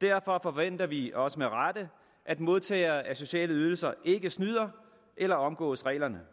derfor forventer vi også med rette at modtagere af sociale ydelser ikke snyder eller omgår reglerne